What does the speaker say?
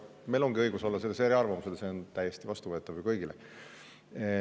Aga meil ongi õigus olla selles eriarvamusel, see on täiesti vastuvõetav ju kõigile.